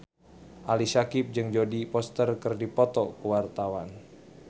Ali Syakieb jeung Jodie Foster keur dipoto ku wartawan